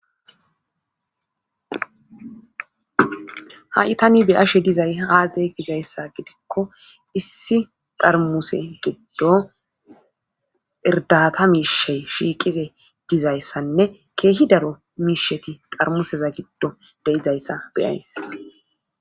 Ha7itani be ashe dizay haaze gizayssa gidikko issi darmuse giddo irdata miishey shiiqize dizayssanne keehi daro miisheti xarmuseza giddo deizayssa beyays